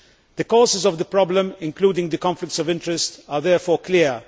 The causes of the problem, including the conflicts of interest, are therefore clear.